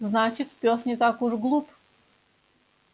значит пёс не так уж глуп